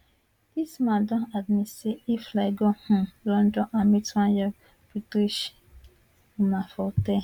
dis man don admit say e fly go um london and meet one young british woman for hotel